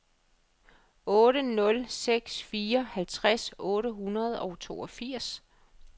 otte nul seks fire halvtreds otte hundrede og toogfirs